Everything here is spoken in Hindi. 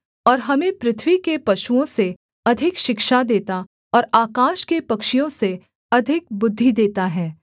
और हमें पृथ्वी के पशुओं से अधिक शिक्षा देता और आकाश के पक्षियों से अधिक बुद्धि देता है